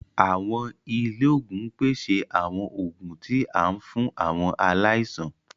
Awọn ilé oògùn n pèsè àwon oògùn tí a fún awọn aláìsàn.